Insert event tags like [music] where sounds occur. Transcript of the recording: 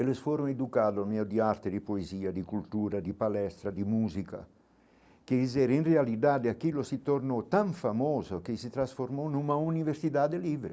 Eles foram educados [unintelligible] de arte, de poesia, de cultura, de palestra, de música, quer dizer, em realidade aquilo se tornou tão famoso que se transformou numa universidade livre.